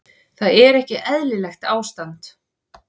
Þar er ekki eðlilegt ástand.